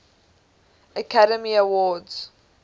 academy awards